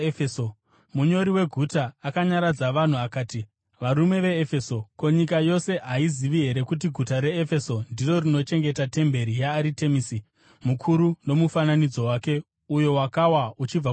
Munyori weguta akanyaradza vanhu akati, “Varume veEfeso, ko, nyika yose haizivi here kuti guta reEfeso ndiro rinochengeta temberi yaAritemisi mukuru nomufananidzo wake, uyo wakawa uchibva kudenga?